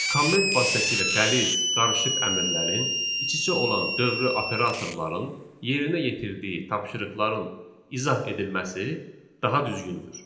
Comment vasitəsilə qəliz, qarışıq əmrlərin, iç-içə olan dövri operatorların yerinə yetirdiyi tapşırıqların izah edilməsi daha düzgündür.